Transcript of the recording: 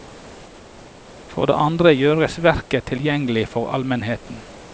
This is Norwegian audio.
For det andre gjøres verket tilgjengelig for allmennheten.